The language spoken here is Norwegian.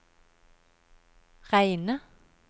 reine